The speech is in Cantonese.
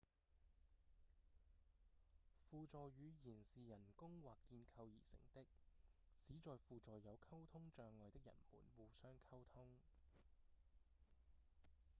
輔助語言是人工或建構而成的旨在輔助有溝通障礙的人們互相溝通